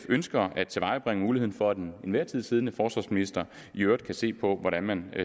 ønsker at tilvejebringe muligheden for at den enhver tid siddende forsvarsminister i øvrigt kan se på hvordan man